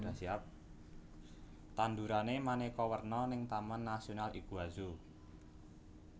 Tandurane maneka werna ning Taman Nasional Iguazu